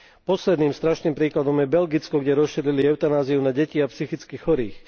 Posledným strašným príkladom je Belgicko, kde rozšírili eutanáziu na deti a psychicky chorých.